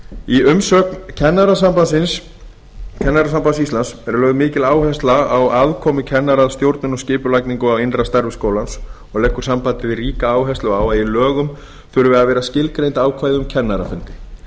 í umsögn kennarasambands íslands er lögð mikil áhersla á aðkomu kennara að stjórnun og skipulagningu á innra starfi skólans og leggur sambandið ríka áherslu á að í lögunum þurfi að vera skilgreind ákvæði um kennarafundi